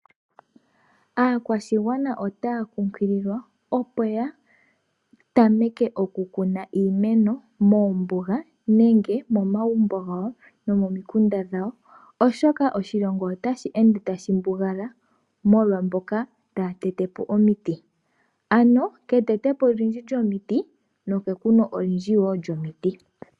Aakwashigwana otaya kunkililwa opo ya tameke okukuna iimeno moombuga nenge momagumbo gawo nomomikunda dhawo, oshoka oshilongo otashi ende tashi mbugala molwa mboka taya tete po omiti. Ano ke tetepo olindji lyomiti, no ke kuna lyoye olindji lyomiti.